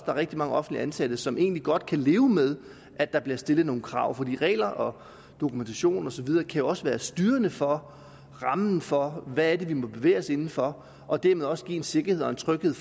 er rigtig mange offentligt ansatte som egentlig godt kan leve med at der bliver stillet nogle krav for regler om dokumentation og så videre kan jo også være styrende for rammen for hvad det er man må bevæge sig inden for og dermed også give en sikkerhed og en tryghed